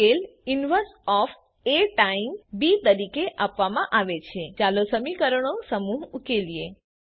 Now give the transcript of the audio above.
ઉકેલ inverse of A times B તરીકે આપવામાં આવે છે ચાલો સમીકરણો સમૂહ ઉકેલીએ